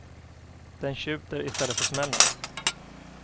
Den tjuter i stället för smäller.